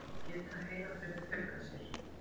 Geta heilafrumur fjölgað sér?